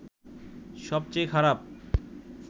সবচেয়ে খারাপ